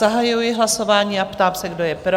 Zahajuji hlasování a ptám se, kdo je pro?